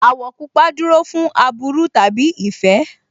Àwọ̀ pupa dúró fún aburú tàbí ìfẹ́